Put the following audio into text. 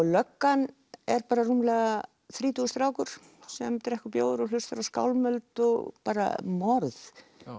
löggan er bara rúmlega þrítugur strákur sem drekkur bjór og hlustar á skálmöld og bara morð